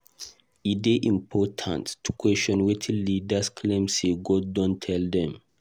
E dey important to question wetin leaders claim say God don tell dem.